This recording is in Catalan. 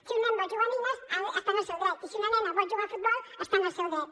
si un nen vol jugar a nines està en el seu dret i si una nena vol jugar a futbol està en el seu dret